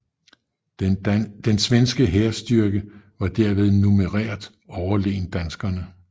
Den svenske hærstyrke var derved numerært overlegen danskerne